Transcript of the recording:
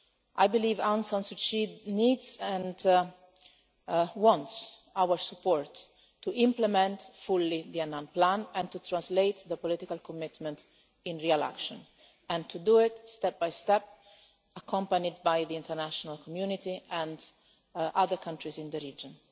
I believe that Aung San Suu Kyi needs and wants our support to implement fully the Annan plan, to translate the political commitment into real action, and to do it, step by step, accompanied by the international community and other countries in the region.